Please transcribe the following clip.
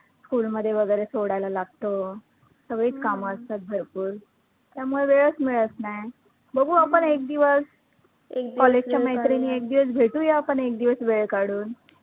school मध्ये वैगरे सोडायला लागतं, सगळी कामं असतात भरपूर त्यामुळे वेळचं मिळतं नाही. बघु आपण एक दिवस, college च्या मैत्रिणी एक दिवस भेटूया आपण एकदिवस भेटूया आपण वेळ काढून